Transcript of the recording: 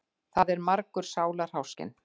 Það er margur sálarháskinn.